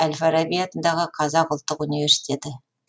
әл фараби атындағы қазақ ұлттық университеті